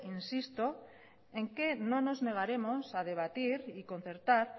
insisto en que no nos negaremos a debatir y concertar